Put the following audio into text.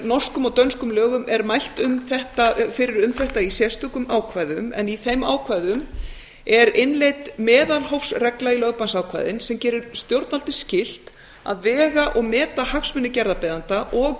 norskum og dönskum lögum er mælt fyrir um þetta í sérstökum ákvæðum en í þeim ákvæðum er innleidd meðalhófsregla í lögbannsákvæðin sem gerir stjórnvaldi skylt að vega og meta hagsmuni gerðarbeiðanda og